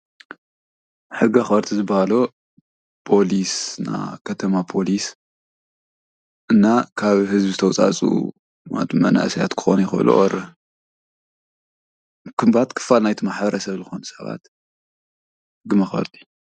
ሕጊ ኣኽበርቲ ዝበሃሉ ፖሊስ ናይ ከተማ ፖሊስ እና ካብ ህዝቢ ዝተወጻጽኡ ማለት መናእሰያት ክኮኑ ይኽእሉ ኦር ከምኡታት ክፋል ናይቲ ማሕበረሰብ ዝኾኑ ሰባት ሕጊ መኽበርቲ